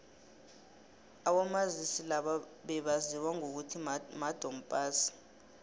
abomazisi laba bebaziwa ngokuthi madom pass